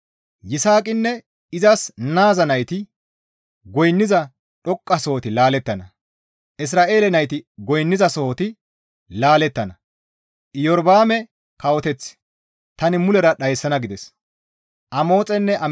Yisaaqinne izas naaza nayti goynniza dhoqqasohoti laalettana; Isra7eele nayti goynnizasohoti laalettana; Iyorba7aame kawoteth tani mulera dhayssana» gides.